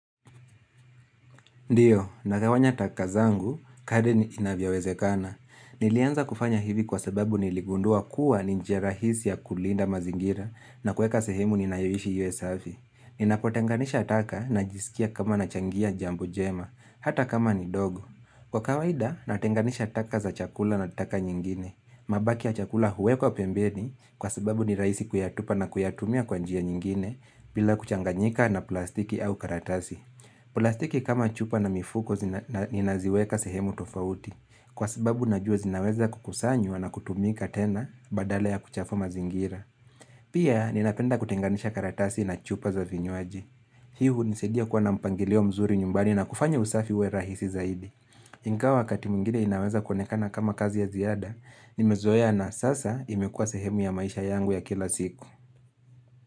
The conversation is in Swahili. Ndiyo, nagawanya taka zangu, kadri inavyowezekana. Nilianza kufanya hivi kwa sababu niligundua kuwa ni njia rahisi ya kulinda mazingira na kuweka sehemu ninayoishi iwe safi. Ninapotenganisha taka najisikia kama na changia jambo jema, hata kama ni dogo. Kwa kawaida, natenganisha taka za chakula na taka nyingine. Mabaki ya chakula huwekwa pembeni kwa sababu ni rahisi kuyatupa na kuyatumia kwa njia nyingine bila kuchanganyika na plastiki au karatasi. Plastiki kama chupa na mifuko ninaziweka sehemu tofauti Kwa sababu najua zinaweza kukusanyu na kutumika tena badala ya kuchafua mazingira Pia ninapenda kutenganisha karatasi na chupa za vinywaaji Hii hunisadia kuwa na mpangilio mzuri nyumbani na kufanya usafi uwe rahisi zaidi Ingawa wakati mwingine inaweza kuonekana kama kazi ya ziada Nimezoea na sasa imekuwa sehemu ya maisha yangu ya kila siku.